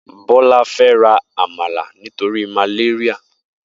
Bola fè rà àmálá nitóri màlériá